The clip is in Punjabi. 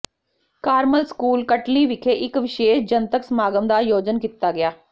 ਕਾਰਮਲ ਸਕੂਲ ਕਟਲੀ ਵਿਖੇ ਇੱਕ ਵਿਸ਼ੇਸ਼ ਜਨਤਕ ਸਮਾਗਮ ਦਾ ਆਯੋਜਨ ਕੀਤਾ ਗਿਆ